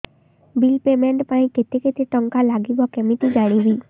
bill payment ପାଇଁ କେତେ କେତେ ଟଙ୍କା ଲାଗିବ କେମିତି ଜାଣିବି